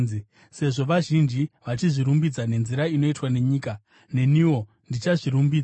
Sezvo vazhinji vachizvirumbidza nenzira inoitwa nenyika, neniwo ndichazvirumbidza.